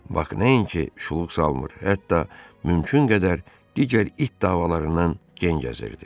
Bak nəinki şuluq salmır, hətta mümkün qədər digər it davalarından gen gəzirdi.